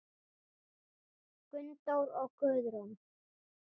Gunndór og Guðrún.